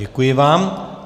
Děkuji vám.